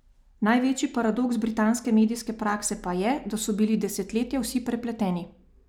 Največji paradoks britanske medijske prakse pa je, da so bili desetletja vsi prepleteni.